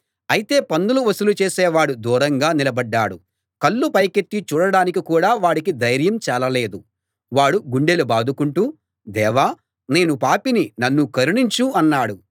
అయితే పన్నులు వసూలు చేసేవాడు దూరంగా నిలబడ్డాడు కళ్ళు పైకెత్తి చూడడానికి కూడా వాడికి ధైర్యం చాలలేదు వాడు గుండెలు బాదుకుంటూ దేవా నేను పాపిని నన్ను కరుణించు అన్నాడు